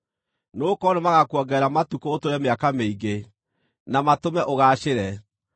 nĩgũkorwo nĩmagakuongerera matukũ ũtũũre mĩaka mĩingĩ, na matũme ũgaacĩre.